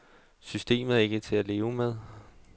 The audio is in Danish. Systemet er ikke til at leve med.